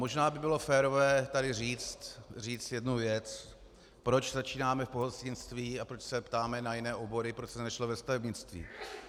Možná by bylo férové tady říct jednu věc: Proč začínáme v pohostinství a proč se ptáme na jiné obory, proč to nešlo ve stavebnictví?